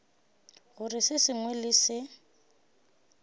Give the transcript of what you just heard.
gore se sengwe le se